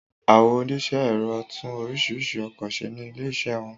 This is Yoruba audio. Àwọn oníṣẹ́ ẹ̀rọ tún oríṣiríṣi ọkọ ṣe ní ilé ìṣe wọn